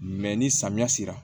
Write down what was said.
Mɛ ni samiya sera